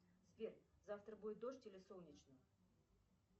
сбер завтра будет дождь или солнечно